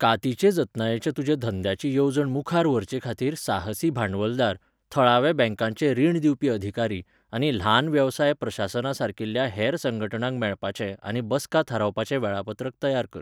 कातीचे जतनायेच्या तुज्या धंद्याची येवजण मुखार व्हरचेखातीर साहसी भांडवलदार, थळाव्या बँकांचें रीण दिवपी अधिकारी, आनी ल्हान वेवसाय प्रशासनासारकिल्या हेर संघटणांक मेळपाचें आनी बसका थारावपाचें वेळापत्रक तयार कर.